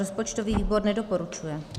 Rozpočtový výbor nedoporučuje.